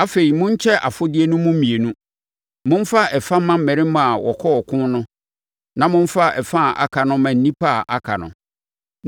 Afei, monkyɛ afodeɛ no mu mmienu. Momfa ɛfa mma mmarima a wɔkɔɔ ɔko no na momfa ɛfa a aka no mma nnipa a aka no.